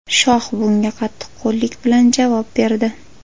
Shoh bunga qattiqqo‘llik bilan javob berdi.